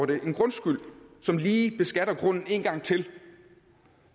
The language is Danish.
det en grundskyld som lige beskatter grunden én gang til